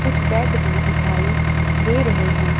कुछ बेड भी दिखाई दे रहे हैं।